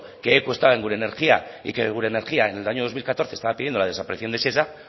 que equo estaba en gure energia y que gure energia en el año dos mil catorce estaba pidiendo la desaparición de shesa